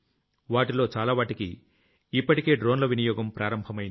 వాటిలో చాలావాటికి ఇప్పటికే డ్రోన్ల వినియోగం ప్రారంభమయ్యింది